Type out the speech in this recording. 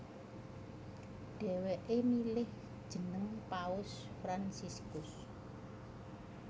Dhèwèké milih jeneng Paus Fransiskus